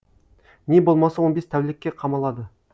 не болмаса он бес тәулікке қамалады